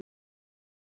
hjá Þór.